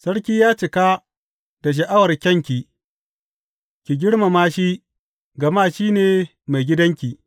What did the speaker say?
Sarki ya cika da sha’awar kyanki; ki girmama shi, gama shi ne maigidanki.